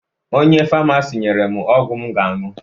Onye famasi nyere m ọgwụ m ga-aṅụ